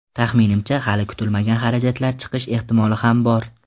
Taxminimcha, hali kutilmagan xarajatlar chiqish ehtimoli ham bor.